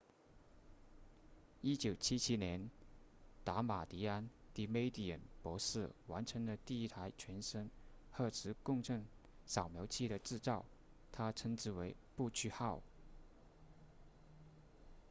1977年达马迪安 damadian 博士完成了第一台全身核磁共振扫描仪的制造他称之为不屈号